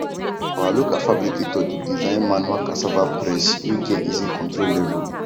our local fabricator dey design manual cassava press wey get easy control level